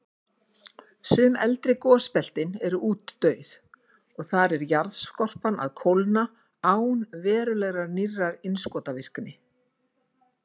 Sum eldri gosbeltin eru útdauð, og þar er jarðskorpan að kólna án verulegrar nýrrar innskotavirkni.